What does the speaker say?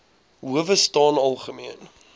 howe staan algemeen